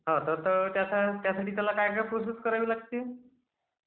हो तर त्यासाठी त्याला काय काय प्रोसेस करावी लागते..